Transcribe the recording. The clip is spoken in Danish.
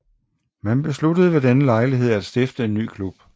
Man besluttede ved denne lejlighed at stifte en ny klub